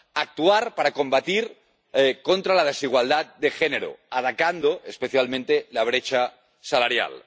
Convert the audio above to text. Actuar para combatir la desigualdad de género, atacando especialmente la brecha salarial.